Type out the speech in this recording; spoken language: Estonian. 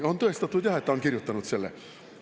On tõestatud jah, et ta on kirjutanud selle.